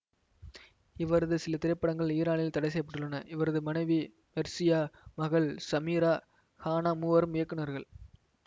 இவரது சில திரைப்படங்கள் ஈரானில் தடை செய்ய பட்டுள்ளன இவரது மனைவி மெர்ஷியா மகள் சமீரா ஹானா மூவரும் இயக்குநர்கள்